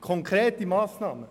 Konkrete Massnahmen!